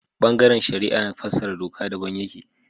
Ɓangaren shari'a na fassara doka daban yake